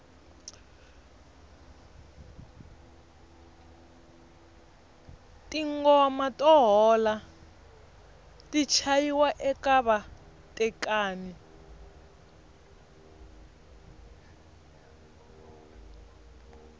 tingoma to hola ti chayiwa eka vatekani